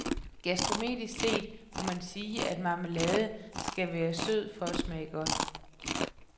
Gastronomisk set må man sige, at marmelade skal være sød for at smage godt.